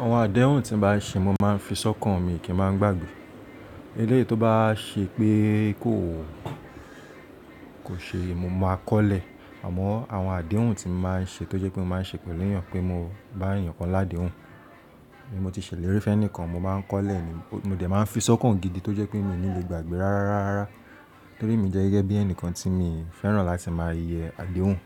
Àwọn àdéhùn tí mo bá ṣe, mo máa ń fi sọ́kàn mi kí ń má gbagbe. Eléyìí tó bá ṣe pé kò, kò ṣe, mo máa kọ́lẹ̀. Àmọ́ àwọn àdéhùn tí mo máa ń ṣe tó jẹ́ pé mo máa ń ṣe pẹ̀lú èèyàn pé mo bá èèyàn kan ládèhùn, bí mo ti ṣèlérí fẹ́ ni ìkan mo máa ń kọ́lẹ̀ ni, mo dẹ̀ máa ń fi sọ́kàn gidi tó jẹ́ pé mi ò ní le gbagbe rárá, rárá. Torí mi jẹ́ gẹ́gẹ́ bí ẹnìkan tí mi fẹ́ràn láti máa yẹ àdéhùn